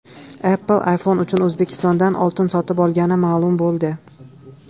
Apple iPhone uchun O‘zbekistondan oltin sotib olgani ma’lum bo‘ldi.